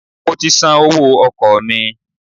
I have paid my transport fare